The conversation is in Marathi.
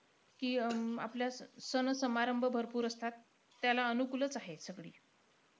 कि आपल्या अं सण-समारंभ भरपूर असतात. त्याला अनुकूलचं आहे सगळे.